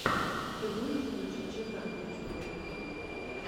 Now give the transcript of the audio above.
ты можешь включить чердак в ютубе